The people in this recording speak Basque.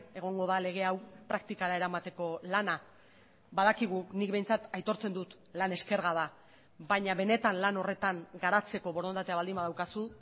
egongo da lege hau praktikara eramateko lana badakigu nik behintzat aitortzen dut lan eskerga da baina benetan lan horretan garatzeko borondatea baldin badaukazu